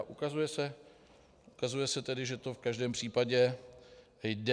A ukazuje se tedy, že to v každém případě jde.